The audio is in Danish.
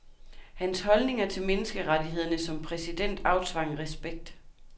Hans holdninger til menneskerettighederne som præsident aftvang respekt.